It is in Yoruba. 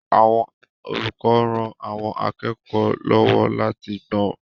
Àwọn olùkọ́ ń ran àwọn akẹ́kọ̀ọ́ lọ́wọ́ láti gbọ́n.